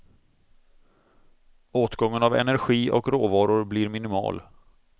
Åtgången av energi och råvaror blir minimal.